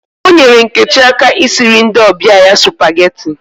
O nyere Nkechi aka I siri ndi obia ya supageti